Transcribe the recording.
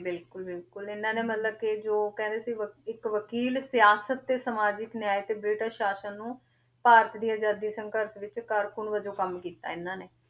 ਬਿਲਕੁਲ ਬਿਲਕੁਲ ਇਹਨਾਂ ਨੇ ਮਤਲਬ ਕਿ ਜੋ ਕਹਿੰਦੇ ਸੀ ਬ~ ਇੱਕ ਵਕੀਲ ਸਿਆਸਤ ਤੇ ਸਮਾਜਿਕ ਨਿਆਂਏ ਤੇ ਬ੍ਰਿਟਿਸ਼ ਸਾਸਨ ਨੂੰ ਭਾਰਤ ਦੀ ਆਜ਼ਾਦੀ ਸੰਘਰਸ਼ ਵਿੱਚ ਕਾਰਕੂਨ ਵਜੋਂ ਕੰਮ ਕੀਤਾ ਇਹਨਾਂ ਨੇ,